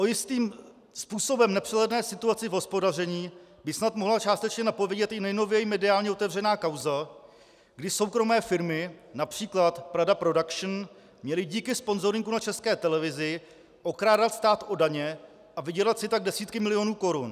O jistým způsobem nepřehledné situaci v hospodaření by snad mohla částečně napovědět i nejnověji mediálně otevřená kauza, kdy soukromé firmy, například Praha Production, měly díky sponzoringu na České televizi okrádat stát o daně a vydělat si tak desítky milionů korun.